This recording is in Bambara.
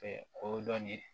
kodɔn de